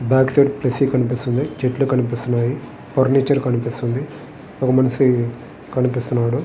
Back side flexi కనిపిస్తుంది. చెట్లు కనిపిస్తున్నాయి. ఫర్నిచర్ కనిపిస్తున్నది. ఒక మనిషి కనిపిస్తున్నాడు.